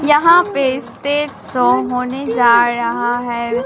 यहां पे stage show होने जा रहा है।